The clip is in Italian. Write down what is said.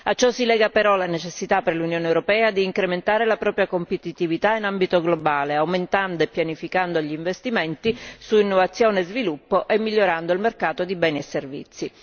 A ciò si lega però la necessità per l'Unione europea di incrementare la propria competitività in ambito globale, aumentando e pianificando gli investimenti su innovazione e sviluppo e migliorando il mercato di beni e servizi.